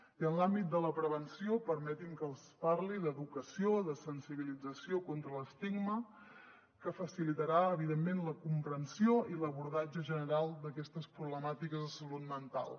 i en l’àmbit de la prevenció permetin me que els parli d’educació de sensibilització contra l’estigma que facilitarà evidentment la comprensió i l’abordatge general d’aquestes problemàtiques de salut mental